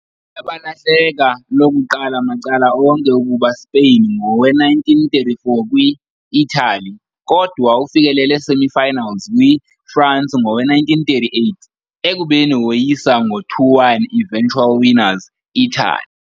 Baye balahleka lokuqala macala onke, ukuba Spain ngowe - 1934 kwi - Italy, kodwa ufikelele semi-finals kwi - France ngowe - 1938, ekubeni woyisa ngo 2-1 eventual winners Italy.